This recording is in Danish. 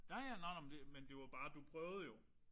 Ja ja nåh nåh men det men det var bare det du prøvede jo